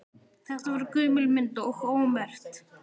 Þetta var gömul mynd og ómerkt.